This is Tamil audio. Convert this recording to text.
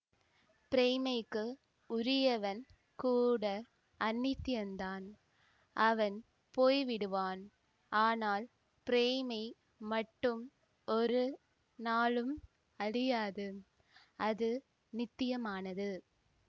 பிரேமைக்கு உரியவன் கூட அநித்யந்தான் அவன் போய் விடுவான் ஆனால் பிரேமை மட்டும் ஒரு நாளும் அழியாது அது நித்யமானது